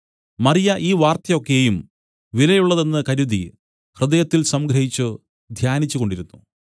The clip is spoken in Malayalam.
മറിയ ഈ വാർത്ത ഒക്കെയും വില ഉള്ളതെന്ന് കരുതി ഹൃദയത്തിൽ സംഗ്രഹിച്ച് ധ്യാനിച്ചുകൊണ്ടിരുന്നു